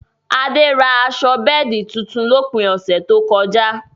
Adé rà aṣọ bẹẹdi tuntun lópin ọṣẹ tó kọ̀ja.